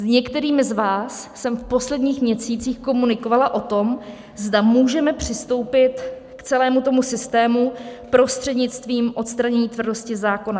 S některými z vás jsem v posledních měsících komunikovala o tom, zda můžeme přistoupit k celému tomu systému prostřednictvím odstranění tvrdosti zákona.